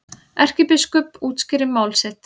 Erkibiskup útskýrir mál sitt